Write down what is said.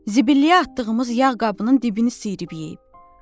Zibiliyə atdığımız yağ qabının dibini sıyııb yeyib.